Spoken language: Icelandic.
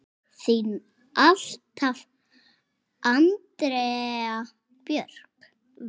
Þín alltaf, Andrea Björk.